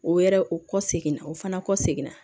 O wɛrɛ o kɔ seginna o fana kɔ seginna